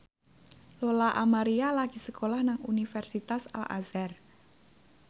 Lola Amaria lagi sekolah nang Universitas Al Azhar